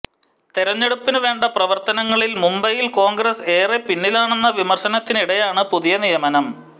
തെരഞ്ഞെടുപ്പിന് വേണ്ട പ്രവർത്തനങ്ങളിൽ മുംബൈയിൽ കോൺഗ്രസ് ഏറെ പിന്നിലാണെന്ന വിമർശനത്തിനിടെയാണ് പുതിയ നിയമനം